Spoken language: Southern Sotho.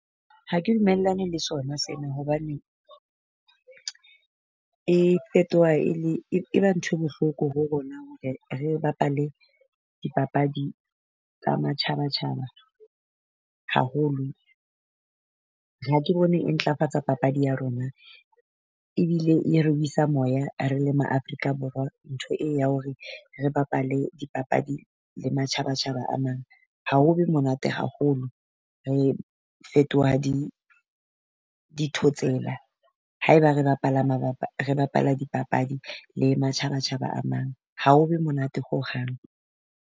Ha ke dumellane le sona sena hobane, e fetoha e le e ba ntho e bohloko ho rona hore re bapale dipapadi tsa matjhaba-tjhaba haholo. Ha ke bone e ntlafatsa papadi ya rona, ebile ere wesa moya re le ma Afrika Borwa. Ntho e o ya hore re bapale dipapadi la matjhaba-tjhaba a mang ha ho be monate haholo, re fetoha di dithotsela. Haeba re bapala mabapa re bapala dipapadi le matjhaba-tjhaba a mang ha ho be monate hohang.